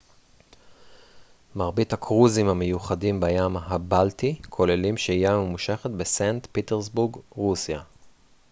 מרבית הקרוזים המיוחדים בים הבלטי כוללים שהייה ממושכת בסנט פטרסבורג רוסיה